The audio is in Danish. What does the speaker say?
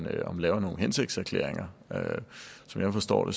laver nogle hensigtserklæringer som jeg forstår